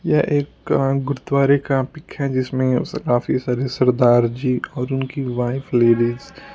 ये एक का गुरुद्वारे का पिक है जिसमें काफी सारे सरदार जी और उनकी वाइफ लेडीज --